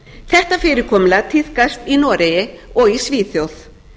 þetta fyrirkomulag tíðkast í noregi og svíþjóð